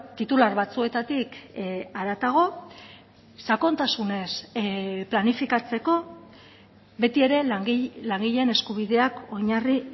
titular batzuetatik haratago sakontasunez planifikatzeko beti ere langileen eskubideak oinarri